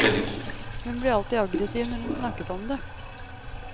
Hun ble alltid aggressiv når hun snakket om det.